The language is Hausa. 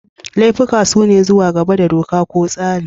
Laifuka sune zuwa gaba da doka ko tsari.